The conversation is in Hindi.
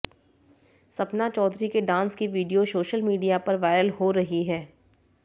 सपना चौधरी के डांस की वीडियो सोशल मीडिया पर वायरल हो रही है